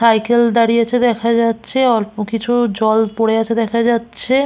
Cycle দাঁড়িয়েছে দেখা যাচ্ছে অল্প কিছু জল পড়ে আছে দেখা যাচ্ছে।